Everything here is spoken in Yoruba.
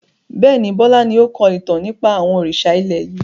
Bẹ́ẹ̀ni, Bọlá ni o kọ ìtàn nípa àwọn òrìṣà ilẹ̀ yìí.